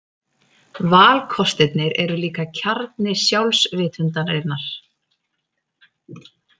Valkostirnir eru líka kjarni sjálfsvitundarinnar.